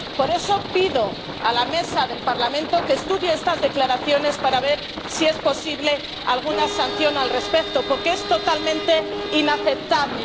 Por eso, pido a la Mesa del Parlamento que estudie estas declaraciones para ver si es posible alguna sanción al respecto, porque es totalmente inaceptable.